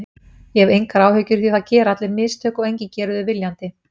Ég hef engar áhyggjur því það gera allir mistök og enginn gerir þau viljandi.